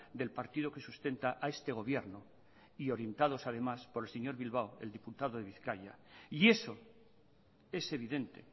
del partido que sustenta a este gobierno y orientados además por el señor bilbao el diputado de bizkaia y eso es evidente